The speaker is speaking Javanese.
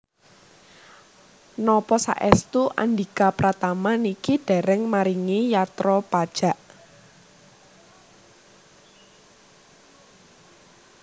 Napa saestu Andhika Pratama niki dereng maringi yatra pajak